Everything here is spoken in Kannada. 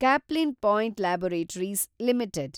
Caplin Point Laboratories limited